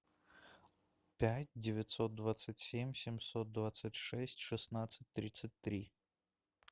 пять девятьсот двадцать семь семьсот двадцать шесть шестнадцать тридцать три